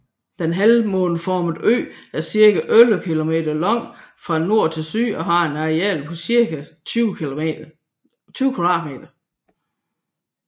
Den halvmåneformede ø er cirka 11 kilometer lang fra nord til syd og har et areal på 20 km²